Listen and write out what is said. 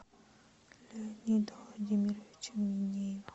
леонида владимировича минеева